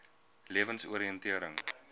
lewensoriëntering